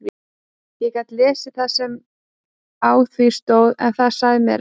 Ég gat lesið það sem á því stóð en það sagði mér ekkert.